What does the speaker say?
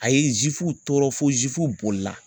A ye tɔɔrɔ fo bolila.